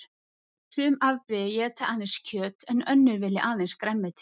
Sum afbrigði éta aðeins kjöt en önnur vilja aðeins grænmeti.